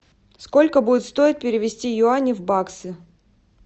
сколько будет стоить перевести юани в баксы